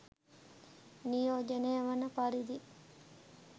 නියෝජනය වන පරිදි